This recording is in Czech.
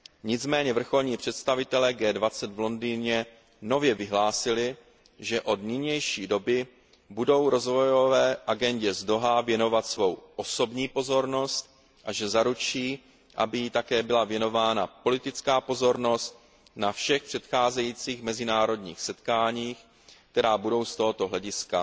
Nicméně vrcholní představitelé G20 v Londýně nově vyhlásili, že od nynější doby budou Rozvojové agendě z Dauhá věnovat svou osobní pozornost a že zaručí, aby jí také byla věnována politická pozornost na všech nadcházejících mezinárodních setkáních, která budou z tohoto hlediska